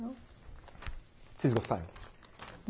Vocês gostaram?